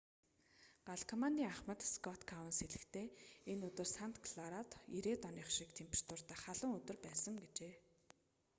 гал командын ахмад скотт коунс хэлэхдээ энэ өдөр санта кларад 90-ээд оных шиг температуртай халуун өдөр байсан гэжээ